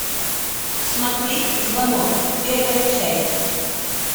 смотреть звонок первая часть